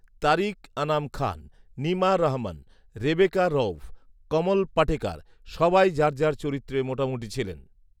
তারিক আনাম খান, নিমা রহমান, রেবেকা রঊফ, কমল পাটেকার সবাই যার যার চরিত্রে মোটামুটি ছিলেন